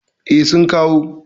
E, sun kawo.